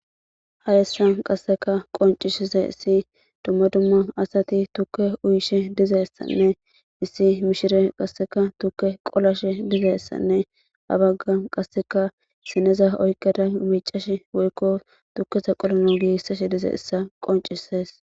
Hayssan qaseka qonccisizaysi dumma dumma asati tuuke uyishe dizaysane issi mishiriyia qaseka tuuke qolashe dizayssanne ha baggana qaseka sineza oyqqada miccashe woyko tuukeza qolanas gigisashe dizayssa qoncisses.